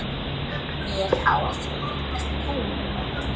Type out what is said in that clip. Ég á það. Þú?